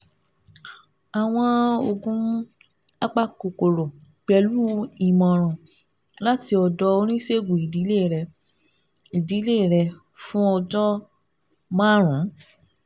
- Àwọn oògùn apakòkòrò pẹ̀lú ìmọ̀ràn láti ọ̀dọ̀ oníṣègùn ìdílé rẹ ìdílé rẹ fún ọjọ́ márùn-ún